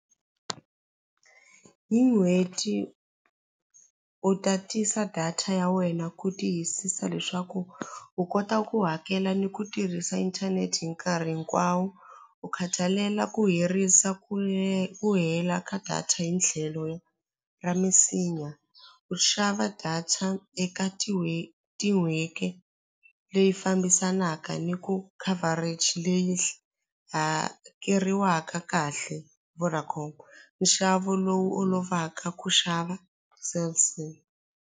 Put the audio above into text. Hi n'hweti u tatisa data ya wena ku tiyisisa leswaku u kota ku hakela ni ku tirhisa inthanete hi nkarhi hinkwawo u khathalela ku herisa ku ku hela ka data hi tlhelo ra misinya u xava data eka leyi fambisanaka ni ku coverage leyi hakeriwaka kahle Vodacom nxavo lowu olovaka ku xava Cell C.